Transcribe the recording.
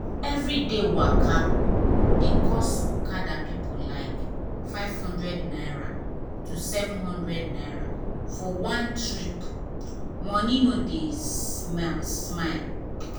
everyday waka dey cost okada people like ₦500 to ₦700 for one trip — money no dey smile.